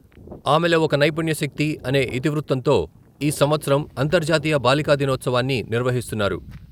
ఆమెలో ఒక నైపుణ్యశక్తి అనే ఇతివృత్తంతో ఈ సంవత్సరం అంతర్జాతీయ బాలికా దినోత్సవాన్ని నిర్వహిస్తున్నారు.